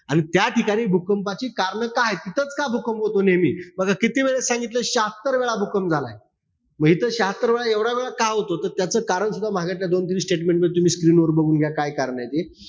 आणि त्याठिकाणी भूकंपाची कारणं काये? तिथंच का भूकंप होतो नेहमी? म आता कितीवेळेस सांगितलं. शहात्तरवेळा भूकंप झाला आहे. म इथं शहात्तर वेळा, एवढा वेळा का होतो? तर त्याच कारण सुद्धा मघाच्या दोन-तीन statement मध्ये तुम्ही screen वर बघून घ्या. काय कारणंय ते.